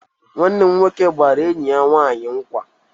Nwanne m nwoke gbara enyi ya nwanyi nkwa.